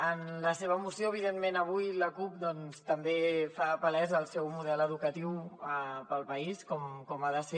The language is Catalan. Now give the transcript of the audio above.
en la seva moció evidentment avui la cup doncs també fa palès el seu model educatiu per al país com ha de ser